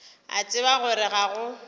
a tseba gore ga go